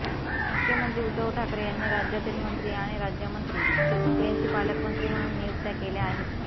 मुख्यमंत्री उद्धव ठाकरे यांनी राज्यातील मंत्री आणि राज्यमंत्री यांची पालकमंत्री म्हणून नियुक्त्या केल्या आहेत